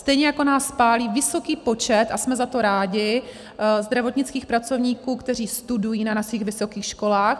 Stejně jako nás pálí vysoký počet, a jsme za to rádi, zdravotnických pracovníků, kteří studují na našich vysokých školách.